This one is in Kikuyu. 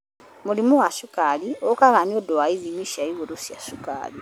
Mũrimũ wa cukari ũkaga nĩ ũndũ wa ithimia cia igũrũ cia cukari.